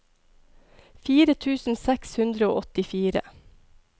fire tusen seks hundre og åttifire